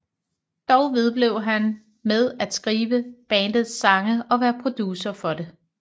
Dog vedblev han med at skrive bandets sange og være producer for det